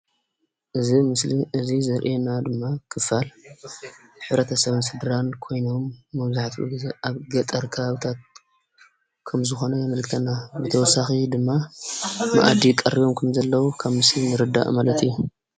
እዚ ምስሊ እዚ ዘሪአና ድማ ክፋል ሕብረተ ሰብን ስድራን ኮይኖም መብዛሕትኡ ግዘ ኣብ ገጠር ከባብታት ከምዝኾነ የመልክተና፡፡ ብተወሳኺ ድማ መኣዲ ቀሪቦም ከምዘለዉ ካብ ምስሉ ንርዳእ ማለት እዩ፡፡